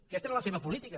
aquesta era la seva política